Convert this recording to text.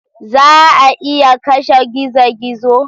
Za a iya kashe gizo-gizo?